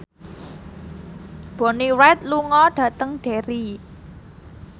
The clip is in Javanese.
Bonnie Wright lunga dhateng Derry